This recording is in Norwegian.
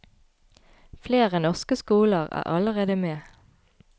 Flere norske skoler er allerede med.